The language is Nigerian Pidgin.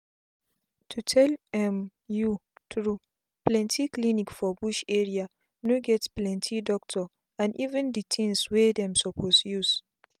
to tell um u tru plenti clinic for bush area no get plenti doctor and even d tins wey dem suppose use